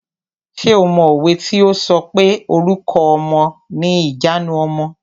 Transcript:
Ṣé o mọ òwe tí o sọ pé "Orúkọ ọmọ ni ìjanu ọmọ".